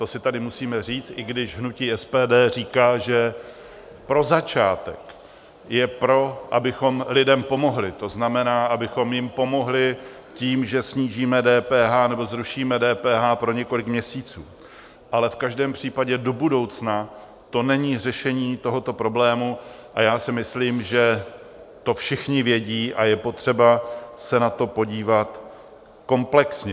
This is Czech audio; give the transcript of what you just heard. To si tady musíme říct, i když hnutí SPD říká, že pro začátek je pro, abychom lidem pomohli, to znamená, abychom jim pomohli tím, že snížíme DPH nebo zrušíme DPH pro několik měsíců, ale v každém případě do budoucna to není řešení tohoto problému, a já si myslím, že to všichni vědí a je potřeba se na to podívat komplexně.